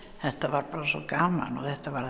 þetta var bara svo gaman og þetta var